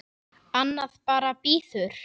Annað bara bíður.